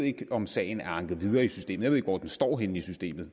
ikke om sagen er anket videre i systemet ikke hvor den står henne i systemet